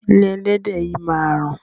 Ilé ẹlẹ́dẹ̀ yìí máa rùn.